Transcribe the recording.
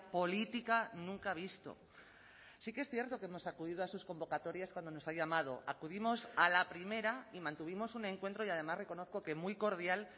política nunca visto sí que es cierto que hemos acudido a sus convocatorias cuando nos ha llamado acudimos a la primera y mantuvimos un encuentro y además reconozco que muy cordial